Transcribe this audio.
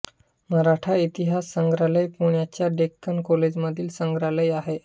मराठा इतिहास संग्रहालय पुण्याच्या डेक्कन कॉलेज मधील संग्रहालय आहे